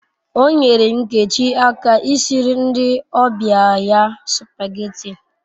O nyere Nkechi aka I siri ndi obia ya supageti